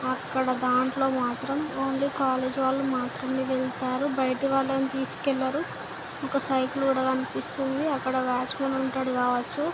అక్కడ దాంట్లో మాత్రం ఓన్లీ కాలేజ్ వాళ్ళు మాత్రమే వెళ్లారు.బయట వాళ్ళని తీసుకెళ్లరు. ఒక సైకిల్ కూడా కనిపిస్తుంది.అక్కడ వాచ్మెన్ ఉంటాడు గావచ్చు.